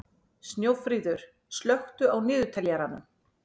Snjófríður, slökktu á niðurteljaranum.